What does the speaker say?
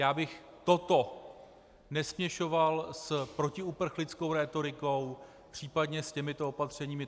Já bych toto nesměšoval s protiuprchlickou rétorikou, případně s těmito opatřeními.